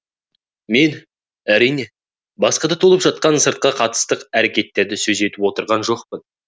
мен әрине басқа да толып жатқан сыртқы қысастық әрекеттерді сөз етіп те отырған жоқпын